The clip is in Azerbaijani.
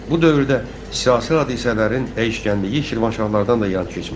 Bu dövrdə siyasi hadisələrin dəyişkənliyi Şirvanşahlardan da yan keçmədi.